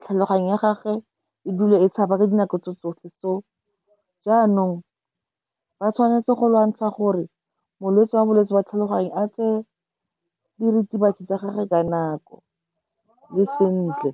tlhaloganyo ya gagwe e dula e tshaba ka dinako tso tsotlhe. So jaanong ba tshwanetse go lwantsha gore molwetse wa bolwetse jwa tlhaloganyo a tseye diritibatsi tsa gagwe ka nako le sentle.